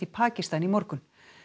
Pakistan í morgun